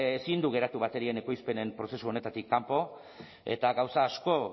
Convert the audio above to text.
ezin du geratu baterien ekoizpenen prozesu honetatik kanpo eta gauza asko